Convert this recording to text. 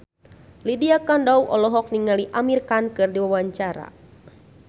Lydia Kandou olohok ningali Amir Khan keur diwawancara